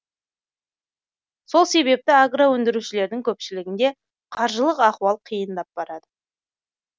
сол себепті агро өндірушілердің көпшілігінде қаржылық ахуал қиындап барады